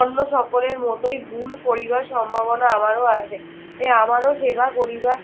অন্য সকলের মতোই ভুল করিবার সম্ভাবনা আমারও আছে। এ আমারও সেবা করিবার